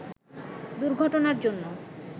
দুর্ঘটনার জন্য